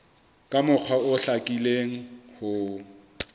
ka mokgwa o hlakileng ho